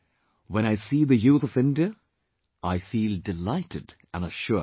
When I see the youth of India, I feel delighted and assured